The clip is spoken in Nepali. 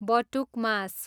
बटुक मास